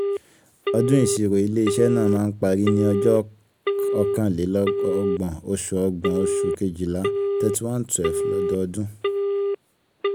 ọdún ìṣirò ilé-iṣẹ́ náà máa ń parí ní ọjọ́ ọkàn lè ọgbọ̀n oṣù ọgbọ̀n oṣù kejìlá thirty one twelve lọ́dọọdún.